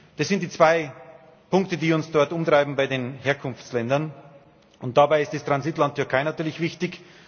Das sind die zwei Punkte, die uns dort umtreiben bei den Herkunftsländern, und dabei ist das Transitland Türkei natürlich wichtig.